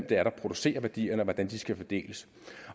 det er der producerer værdierne og hvordan de skal fordeles